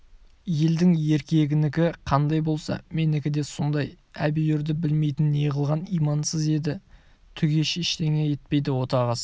елдің еркегінікі қандай болса менікі де сондай әбиүрді білмейтін неғылған имансыз еді түге ештеңе етпейді отағасы